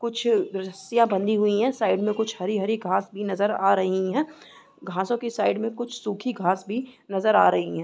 कुछ रसियाँ बंदी हुई साइड में कुछ हरी-हरी घास भी नज़र आ रही है घासों के साइड में कुछ सूखी घास भी नज़र आ रही हैं।